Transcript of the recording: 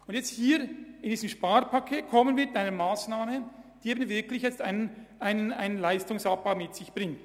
Im Rahmen des Sparpakets präsentieren wir jedoch eine Massnahme, die wirklich einen Leistungsabbau mit sich bringt.